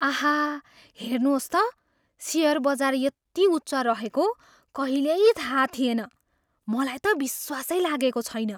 आहा, हेर्नुहोस् त, सेयर बजार यति उच्च रहेको कहिल्यै थाहा थिएन। मलाई त विश्वासै लागेको छैन।